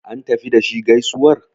an tafi da shi gaisuwar?